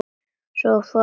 Og- svo hvarf hann.